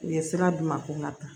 U ye sira d'u ma ko n ka taa